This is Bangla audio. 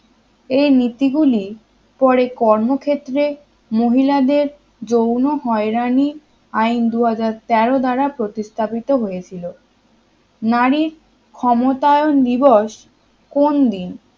এই নীতিগুলি পরে কর্মক্ষেত্রে মহিলাদের যৌন হয়রানি আইন দুহাজার তেরো দ্বারা প্রতিস্থাপিত হয়েছিল নারীর ক্ষমতায়ন দিবস কোন দিন